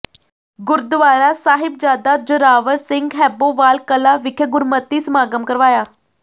ਗੁਰਦੁਆਰਾ ਸਾਹਿਬਜ਼ਾਦਾ ਜ਼ੋਰਾਵਰ ਸਿੰਘ ਹੈਬੋਵਾਲ ਕਲਾਂ ਵਿਖੇ ਗੁਰਮਤਿ ਸਮਾਗਮ ਕਰਵਾਇਆ